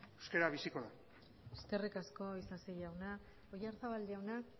euskara biziko da eskerrik asko isasi jauna oyarzabal jaunak